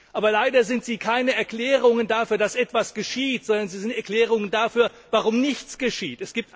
Aber leider sind sie keine Erklärungen dafür, dass etwas geschieht, sondern sie sind Erklärungen dafür, warum nichts geschieht.